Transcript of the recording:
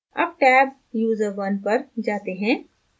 tab tab user1 पर जाते हैं